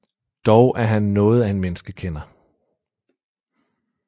Dog er han noget af en menneskekender